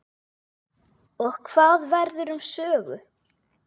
Og hvað verður um Sögu?